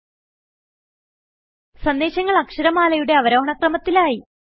ഇപ്പോൾ സന്ദേശങ്ങൾ അക്ഷരമാലയുടെ അവരോഹണ ക്രമത്തിലായി